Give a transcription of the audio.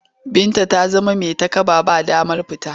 Binta ta zama mai takaba. Ba damar fita.